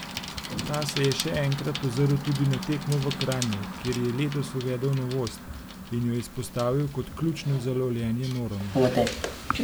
Ta se je še enkrat ozrl tudi na tekmo v Kranju, kjer je letos uvedel novost, in jo izpostavil kot ključno za lovljenje norm.